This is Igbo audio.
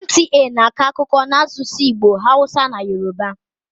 NTA na-akọ akụkọ n'asụsụ Igbo, hausa na yoruba.